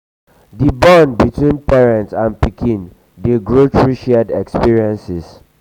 di bond between parent and pikin dey grow through shared experiences.